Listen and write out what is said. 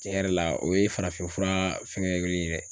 Cɛn yɛrɛ la o ye farafinfura fɛngɛlen ye dɛ